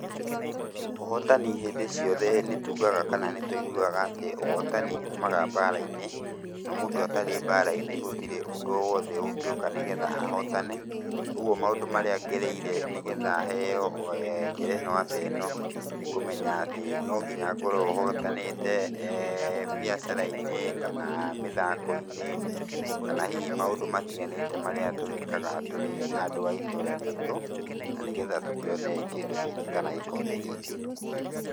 Ũhotani hĩndĩ ciothe nĩtugaga kana nĩtũiguaga atĩ ũhotani umaga mbara-inĩ, na mũndũ atarĩ mbara-inĩ gũtirĩ ũndũ o wothe ũngĩũka nĩgetha ahotane, ũguo maũndũ marĩa ngereire nĩgetha heo ngerenwa ta ĩno, nĩkũmenya atĩ no nginya ngorwo hotanĩte biacara-inĩ, kana mĩthako-inĩ, kana hihi maũndũ matiganĩte marĩa tũgĩkaga tũrĩ andũ a itũra ritũ na nĩgetha tũkĩone kĩndũ gĩkĩ kana gĩkombe gĩkĩ.